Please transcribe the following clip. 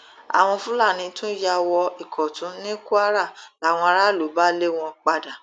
àwọn fúlàní tún yà wọ ìkọtun ní kwara làwọn aráàlú bá lé wọn padà